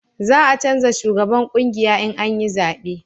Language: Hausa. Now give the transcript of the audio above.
za a canja shugaban ƙungiya in an yi zabe